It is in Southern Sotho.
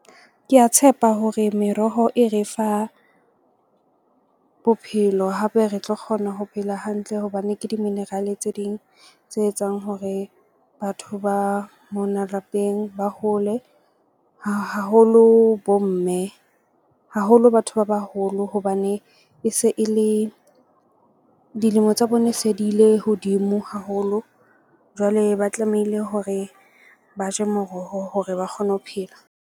Ke a tshepa hore meroho e re fa bophelo hape re tlo kgona ho phela hantle. Hobane ke di-mineral-e tse ding tse etsang hore batho ba mona lapeng ba hole haholo bo mme haholo batho ba baholo. Hobane e se e le dilemo tsa bone se di ile hodimo haholo. Jwale ba tlamehile hore ba je moroho hore ba kgone ho phela.